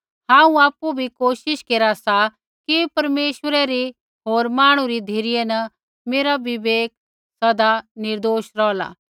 हांऊँ आपु बी कोशिश केरा सा कि परमेश्वरै री होर मांहणु री धिरै न मेरा विवेक सदा निर्दोष रौहला